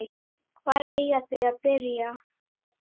Hvar eiga þau að byrja?